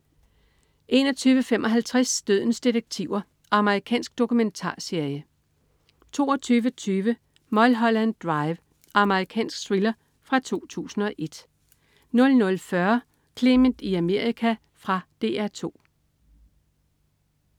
21.55 Dødens detektiver. Amerikansk dokumentarserie 22.20 Mulholland Drive. Amerikansk thriller fra 2001 00.40 Clement i Amerika. Fra DR 2